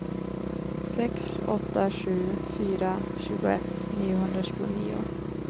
sex åtta sju fyra tjugoett niohundratjugonio